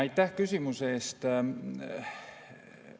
Aitäh küsimuse eest!